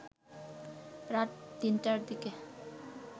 রাত ৩টার দিকে